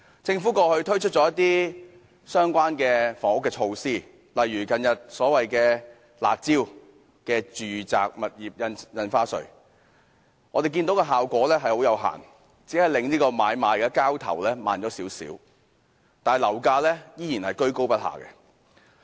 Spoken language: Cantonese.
政府過去推出一些相關的房屋措施，例如所謂"辣招"的住宅物業印花稅，我們看到效果有限，只令買賣交投慢了少許，但樓價依然高踞不下。